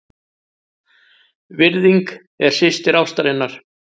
VIRÐING- er systir ástarinnar.